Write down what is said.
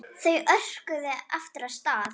Þau örkuðu aftur af stað.